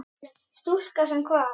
Stúlka sem kvað.